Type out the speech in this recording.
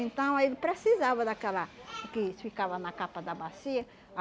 Então ele precisava daquela que ficava na capa da bacia.